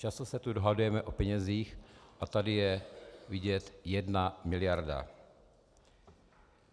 Často se tu dohadujeme o penězích a tady je vidět jedna miliarda.